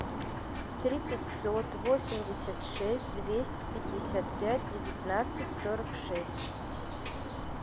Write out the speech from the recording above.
три пятьсот восемьдесят шесть двести пятьдесят пять девятнадцать сорок шесть